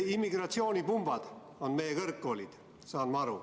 Immigratsioonipumbad on meie kõrgkoolid, sain ma aru.